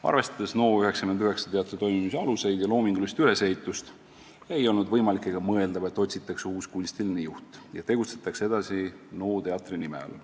" Arvestades NO99 teatri toimimise aluseid ja loomingulist ülesehitust, ei olnud võimalik ega mõeldav, et otsitakse uus kunstiline juht ja tegutsetakse edasi NO teatri nime all.